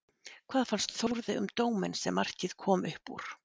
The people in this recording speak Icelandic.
Hvað fannst Þórði um dóminn sem markið kom upp úr?